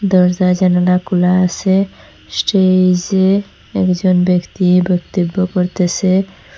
দরজা জানালাগুলা আসে স্টেইজে একজন ব্যাক্তি বক্তব্য করতেসে।